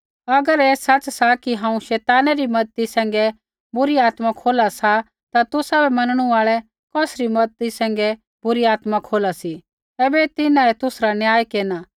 अगर ऐ सच़ सा कि हांऊँ शैतानै री मज़ती सैंघै बुरी आत्मा खोला सा ता तुसाबै मैनणु आल़ै कौसरी मज़ती सैंघै बुरी आत्मा खोला सी ऐबै तिन्हाऐ तुसरा न्याय केरना